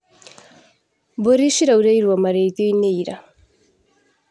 Mbũri ciraurĩirwo marĩithioinĩ ira.